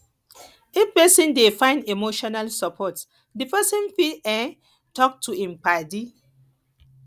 if person dey find emotional support di person fit um talk to im paddi